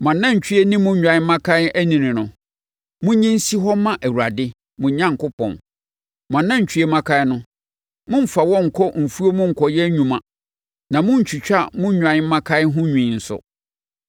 Mo anantwie ne mo nnwan mmakan anini no, monyi nsi hɔ mma Awurade, mo Onyankopɔn. Mo anantwie mmakan no, mommfa wɔn nkɔ mo mfuo mu nkɔyɛ nnwuma na monntwitwa mo nnwan mmakan ho nwi nso.